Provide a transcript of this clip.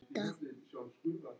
Bréf frá Lenu.